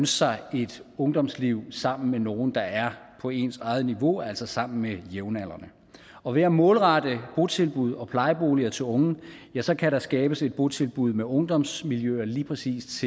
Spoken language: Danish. sig et ungdomsliv sammen med nogen der er på ens eget niveau altså sammen med jævnaldrende og ved at målrette botilbud og plejeboliger til unge ja så kan der skabes et botilbud med ungdomsmiljøer lige præcis